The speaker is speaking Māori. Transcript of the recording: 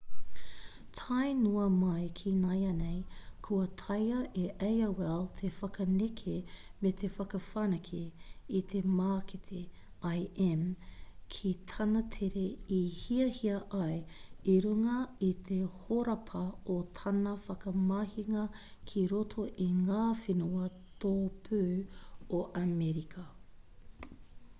tae noa mai ki nāianei kua taea e aol te whakaneke me te whakawhanake i te mākete im ki tāna tere i hiahia ai i runga i te horapa o tana whakamahinga ki roto i ngā whenua tōpū o amerika